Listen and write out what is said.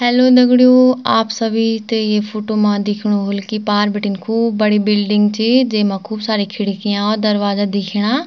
हेल्लो दगडियों आप सभी ते ये फोटो मा दिखेणु होल की पार बिटिन खूब बड़ी बिल्डिंग ची जेमा खूब सारी खिड़कियाँ और दरवाजा दिखेणा।